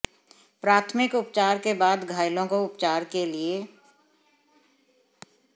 प्राथमिक उपचार के बाद घायलों को उपचार के लिए